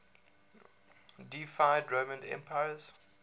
deified roman emperors